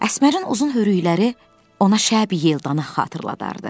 Əsmərin uzun hörükləri ona şəb yelda xatırladardı.